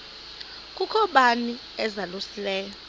kukho bani uzalusileyo